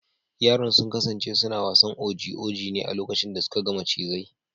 Yaran sun kasance suna wasan oji oji ne a lokacin da suka ga macizai.